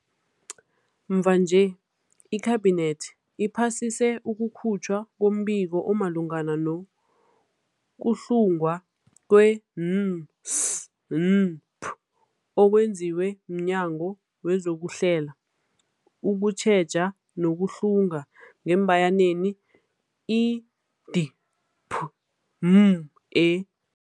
Mvanje, iKhabinethi iphasise ukukhutjhwa kombiko omalungana nokuhlungwa kwe-N S N P okwenziwe mNyango wezokuHlela, ukuTjheja nokuHlunga, i-D P M E.